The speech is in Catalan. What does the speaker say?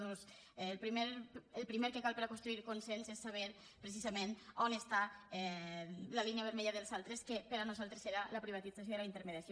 doncs el primer que cal per construir consens és saber precisament on està la línia vermella dels altres que per a nosaltres era la privatització i la intermediació